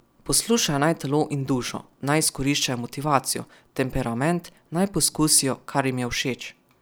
Poslušajo naj telo in dušo, naj izkoriščajo motivacijo, temperament, naj poskusijo, kar jim je všeč.